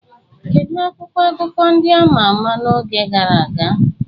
Kedu akwụkwọ akụkọ ndị a ma ama n'oge gara aga?